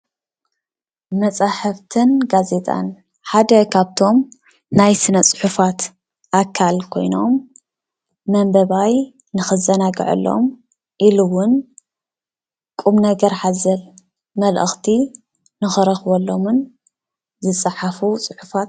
መፃሕፍትን ጋዜጣን ሓደ ካብቶም ናይ ስነ ፅሑፋት ኣካል ኮይኖም መንበባይ ንኽዘናገዐሎም ኢሉ እዉን ቁም ነገር ሓዘል መልእኽቲ ንኽረክበሎምን ዝፀሓፉ ፅሑፋት...